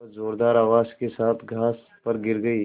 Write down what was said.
वह ज़ोरदार आवाज़ के साथ घास पर गिर गई